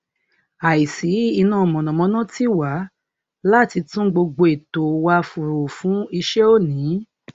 àìsí iná mọnàmọná tì wá láti tún gbogbo ètò wa rò fún iṣẹ òní